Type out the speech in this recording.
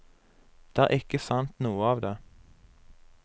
Det er ikke sant noe av det.